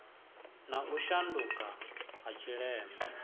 na u shanduka ha tshileme